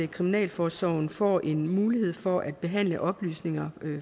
kriminalforsorgen får en mulighed for at behandle oplysninger